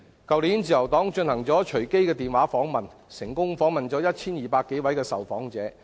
去年自由黨進行隨機電話訪問，成功訪問 1,200 多位受訪者。